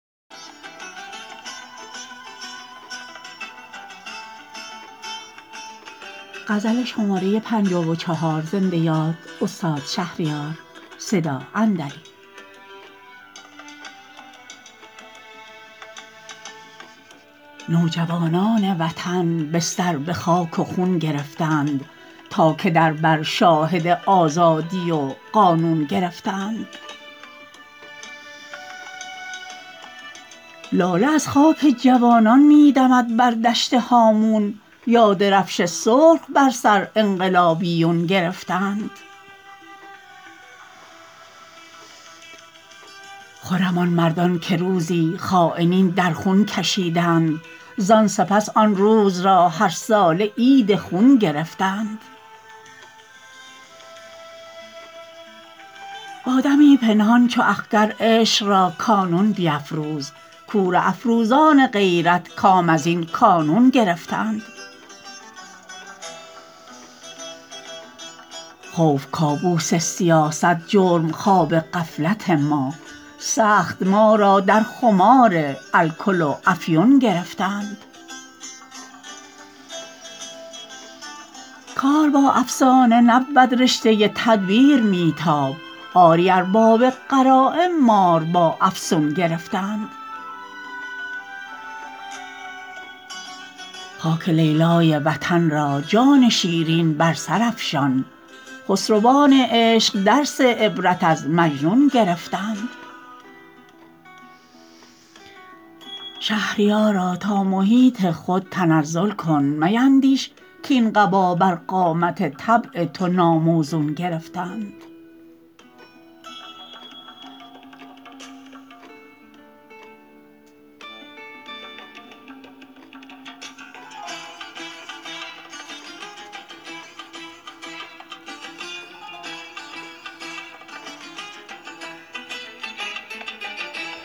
نوجوانان وطن بستر به خاک و خون گرفتند تا که در بر شاهد آزادی و قانون گرفتند رایگان در پای نامردان برافشانی چه دانی کاین همایون گوهر از کام نهنگان چون گرفتند لاله از خاک جوانان می دمد بر دشت هامون یا درفش سرخ بر سر انقلابیون گرفتند خرم آن مردان که روزی خاینین در خون کشیدند زان سپس آن روز را هر ساله عید خون گرفتند تا به سیر قهقرایی آخرین فرصت کنی کم خود عنان حزب در کف دشمنان دون گرفتند با دمی پنهان چو اخگر عشق را کانون بیفروز کوره افروزان غیرت کام از این کانون گرفتند برج ایفل یادگار همت مغلوب قومی ست کز کف امواج دریا نعش ناپلیون گرفتند خوف کابوس سیاست جرم خواب غفلت ما سخت ما را در خمار الکل و افیون گرفتند کار با افسانه نبود رشته تدبیر می تاب آری ارباب غرایم مار با افسون گرفتند خاک لیلای وطن را جان شیرین بر سر افشان خسروان عشق درس عبرت از مجنون گرفتند شهریارا تا محیط خود تنزل کن میندیش کاین قبا بر قامت طبع تو ناموزون گرفتند